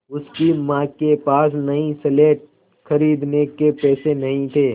उसकी माँ के पास नई स्लेट खरीदने के पैसे नहीं थे